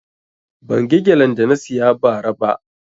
Ban ga gelen da na siya ba ra ba